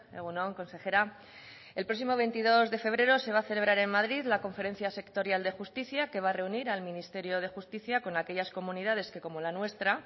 egun on consejera el próximo veintidós de febrero se va a celebrar en madrid la conferencia sectorial de justicia que va a reunir al ministerio de justicia con aquellas comunidades que como la nuestra